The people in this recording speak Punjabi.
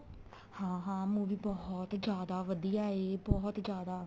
ਹਾਂ ਹਾਂ movie ਬਹੁਤ ਈ ਜਿਆਦਾ ਵਧੀਆ ਏ ਬਹੁਤ ਈ ਜਿਆਦਾ